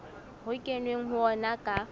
ho kenweng ho ona ka